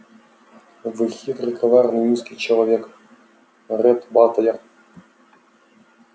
вы хитрый коварный низкий человек ретт батлер